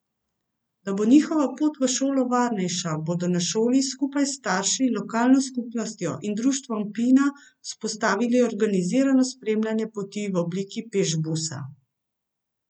Da bo njihova pot v šolo varnejša, bodo na šoli skupaj s starši, lokalno skupnostjo in društvom Pina vzpostavili organizirano spremljanje poti v obliki pešbusa.